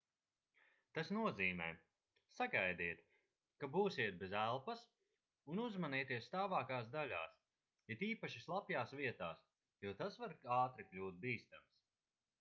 tas nozīmē sagaidiet ka būsiet bez elpas un uzmanieties stāvākās daļās it īpaši slapjās vietās jo tas var ātri kļūt bīstams